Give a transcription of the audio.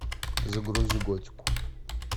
загрузи готику